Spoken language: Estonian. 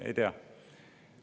Ei tea!